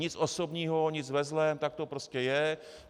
Nic osobního, nic ve zlém, tak to prostě je.